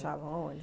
aonde?